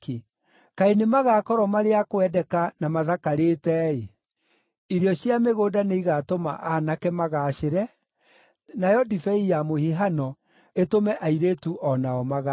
Kaĩ nĩmagakorwo marĩ a kwendeka, na mathakarĩte-ĩ! Irio cia mĩgũnda nĩigatũma aanake magaacĩre, nayo ndibei ya mũhihano ĩtũme airĩtu o nao magaacĩre.